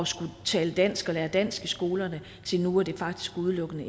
skulle tale dansk og lære dansk i skolerne til nu hvor det faktisk udelukkende